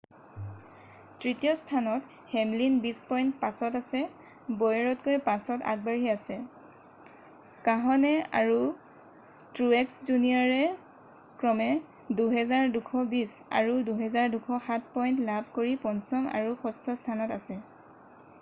তৃতীয় স্থানত হেমলিন বিশ পইণ্ট পাছত আছে বৌয়েৰতকৈ 5ত আগবাঢ়ি আছে কাহনে আৰু ট্ৰুয়েক্স জুনিয়ৰ ক্ৰমে 2,220 আৰু 2,207 পইণ্ট লাভ কৰি পঞ্চম আৰু ষষ্ঠ স্থানত আছে